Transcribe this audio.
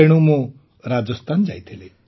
ତେଣୁ ମୁଁ ରାଜସ୍ଥାନ ଯାଇଥିଲି